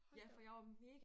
Hold da op